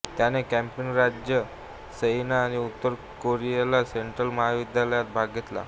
त्याने कॉपिन राज्य सिएना आणि उत्तर कॅरोलिना सेंट्रल महाविद्यालयात भाग घेतला